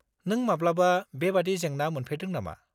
नों माब्लाबा बेबायदि जेंना मोनफेरदों नामा?